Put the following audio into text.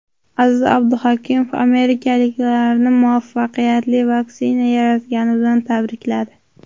Aziz Abduhakimov amerikaliklarni muvaffaqiyatli vaksina yaratgani bilan tabrikladi.